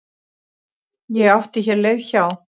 Ég átti hér leið hjá.